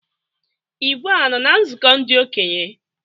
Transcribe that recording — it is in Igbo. Igwe a nọ na nzụkọ ndị okenye?